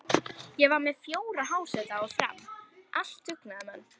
Ég var með fjóra háseta á Fram, allt dugnaðarmenn.